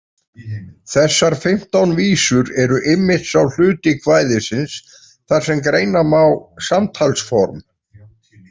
Þessar fimmtán vísur eru einmitt sá hluti kvæðisins þar sem greina má samtalsform.